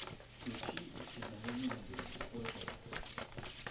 включи исчезновение на берегу озера